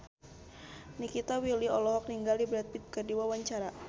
Nikita Willy olohok ningali Brad Pitt keur diwawancara